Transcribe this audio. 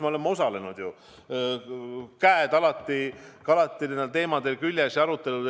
Me oleme nende teemade aruteludel alati osalenud, käed on alati küljes olnud.